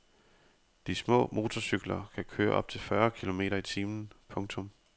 De små motorcykler kan køre op til fyrre kilometer i timen. punktum